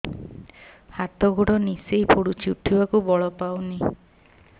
ହାତ ଗୋଡ ନିସେଇ ପଡୁଛି ଉଠିବାକୁ ବଳ ପାଉନି